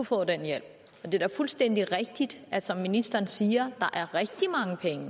få den hjælp og det er da fuldstændig rigtigt som ministeren siger